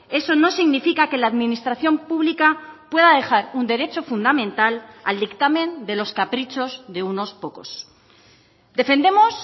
eso no significa que la administración pública pueda dejar un derecho fundamental al dictamen de los caprichos de unos pocos defendemos